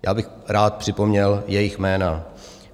Já bych rád připomněl jejich jména.